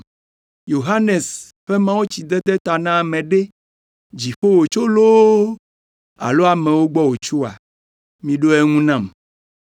Yohanes ƒe mawutsidede ta na ame ɖe, Dziƒo wòtso loo alo amewo gbɔ wòtsoa? Miɖo eŋu nam!”